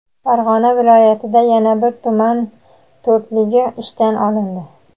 Farg‘ona viloyatida yana bir tuman "to‘rtligi" ishdan olindi.